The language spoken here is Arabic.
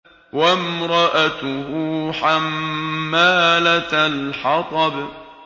وَامْرَأَتُهُ حَمَّالَةَ الْحَطَبِ